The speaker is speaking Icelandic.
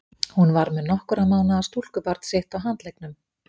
Hún var með nokkurra mánaða stúlkubarn sitt á handleggnum.